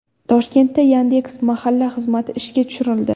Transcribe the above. Toshkentda Yandex.Mahalla xizmati ishga tushirildi.